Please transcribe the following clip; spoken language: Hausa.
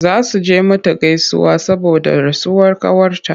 Za su je mata gaisuwa saboda rasuwar ƙawarta.